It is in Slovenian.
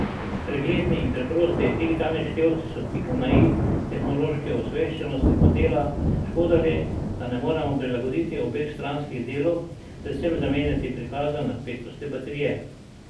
Pregledni in preprosti digitalni števci so pika na i tehnološki osveščenosti modela, škoda le, da ne moremo prilagoditi obeh stranskih delov, predvsem zamenjati prikaza napetosti baterije.